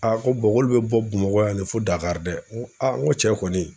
ko k'olu be bɔ Bamakɔ yan ne fo Dakar dɛ. Ŋo ŋo cɛ kɔni